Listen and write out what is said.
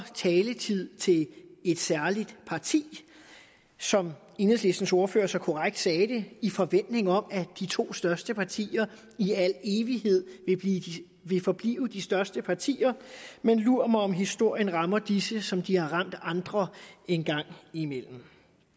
taletid til et særligt parti som enhedslistens ordfører så korrekt sagde det i forventning om at de to største partier i al evighed vil forblive de største partier men lur mig om historien rammer disse som de har ramt andre en gang imellem